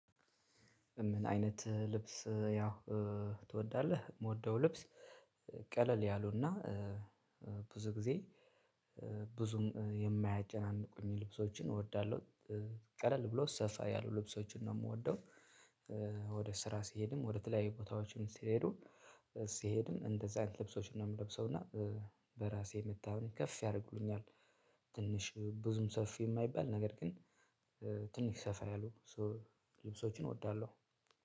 ምን አይነት ልብስ ያው ትወዳለህ? የምወደው ልብስ ቀለል ያሉና ብዙ ጊዜ ብዙም የማያጨናንቁኝ ልብሶችን እወዳለሁ ቀለል ብሎ ሰፋ ያሉ ልብሶችን ነው ምወደው። ወደ ስራ ሲሄድም ወደ ተለያዩ ቦታዎችም ሲሄዱ ሲሄድም እንደዛ አይነት ልብሶች ነው ምለብሰው እና በራሴ መተማመን ከፍ ያደርጉኛል። ብዙም ሰፊ የማይባል ነገር ግን ትንሽ ሰፋ ያሉ ልብሶችን እወዳለሁ።